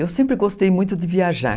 Eu sempre gostei muito de viajar.